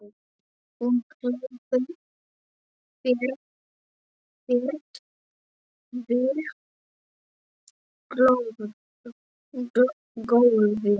Hún hleypur þvert yfir gólfið.